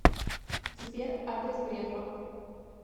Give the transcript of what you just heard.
сбер адрес грефа